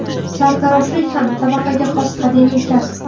Sartaroshlik ham tabaqaga xos qadimiy kasb.